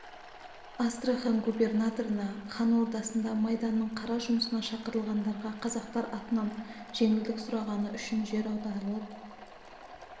астрахан губернаторына хан ордасында майданның қара жұмысына шақырылғандарға қазақтар атынан жеңілдік сұрағаны үшін жер аударылып